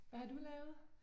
Hvad har du lavet?